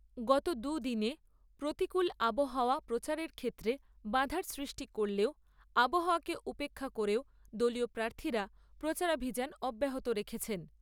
গত দুদিনে প্রতিকূল আবহাওয়া প্রচারের ক্ষেত্রে বাধার সৃষ্টি করলেও আবহাওয়াকে উপেক্ষা করেও দলীয় প্রার্থীরা প্রচারাভিযান অব্যাহত রেখেছেন।